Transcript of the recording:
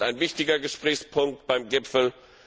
Wahlen sind ein wichtiger Gesprächspunkt beim Gipfel.